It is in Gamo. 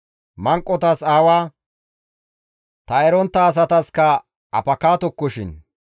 Manqotas aawa, ta erontta asataskka apakatokoshin.